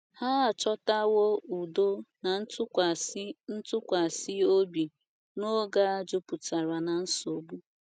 Ha achọtawo udo na ntụkwasị ntụkwasị obi n’oge a jupụtara ná nsogbu.